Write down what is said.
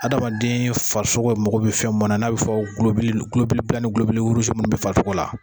Adamaden farisogo mako bɛ fɛn mun na n'a bɛ fɔ ni minnu bɛ farisogo la